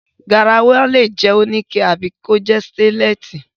Garawa lè jẹ́ oníke tàbí kí ó jẹ́ sítéńlẹ̀sì.